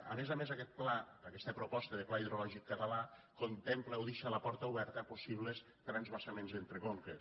a més a més aquest pla aquesta proposta de pla hidrològic català contempla o deixa la porta oberta a possibles transvasaments entre conques